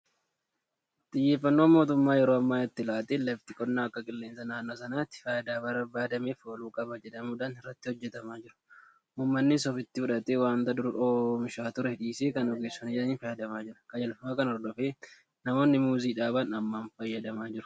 Xiyyeeffannoo mootummaan yeroo ammaa itti laateen lafti qonnaa akka qilleensa naannoo sanaatti faayidaa barbaadameef ooluu qaba jedhamuudhaan irratti hojjetamaa jira. Uummannis ofitti fudhatee waanta dur oomishaa ture dhiisee kan ogeessonni jedhaniin fayyadamaa jira. Qajeelfama kana hordofee namoonni Muuzii dhaaban hammam fayyadamaa ta'u?